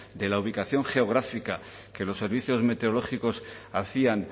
de la ubicación geográfica que los servicios meteorológicos hacían